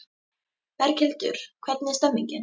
Berghildur hvernig er stemningin?